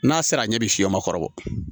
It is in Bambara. N'a sera a ɲɛ bi fiyɛ ma kɔrɔbɔ